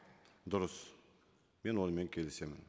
дұрыс мен онымен келісемін